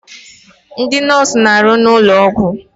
Ndị nọọsụ na-arụ n'ụlọ ọgwụ.